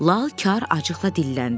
Lal kar acıqla dilləndi.